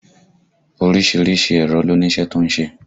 Orísìírísìí èrò ló ní iṣẹ́ tó ń ṣe